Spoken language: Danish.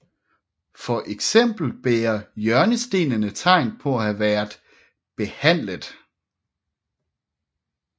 For eksempel bærer hjørnestenene tegn på at have været behandlet